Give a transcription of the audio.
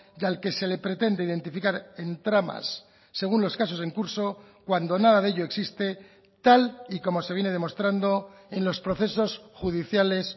y al que se le pretende identificar en tramas según los casos en curso cuando nada de ello existe tal y como se viene demostrando en los procesos judiciales